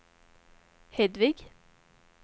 Hedvig